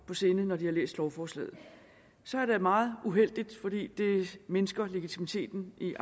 på sinde når de har læst lovforslaget så er det meget uheldigt fordi det mindsker legitimiteten i